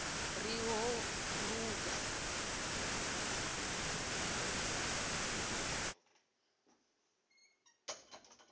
ri ho luga ri ḓo